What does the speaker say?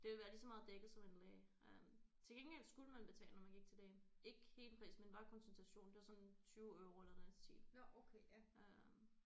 Det ville være lige så meget dækket som en læge øh til gengæld skulle man betale når man gik til lægen. Ikke hele prisen men bare konsultationen det var sådan 20 euro eller noget i den stil øh